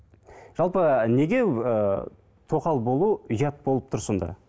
жалпы неге ііі тоқал болу ұят болып тұр сонда